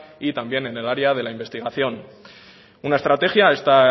y también en el área de la investigación una estrategia esta